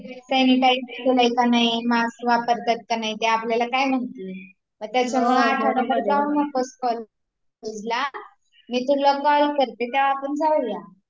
sanitiser आहेत कि नाही मास्क वापरतात कि नाही ते आपल्याला काय माहित मग त्याच्यामुळे आठवडाभर जाऊ नकोस कॉलेजला